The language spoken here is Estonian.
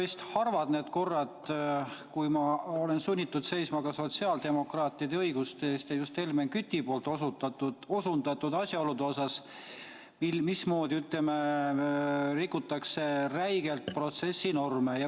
Ei ole harvad need korrad, kui ma olen sunnitud seisma ka sotsiaaldemokraatide õiguste eest ja just Helmen Küti osutatud asjaoludega seoses, mismoodi rikutakse räigelt protsessinorme.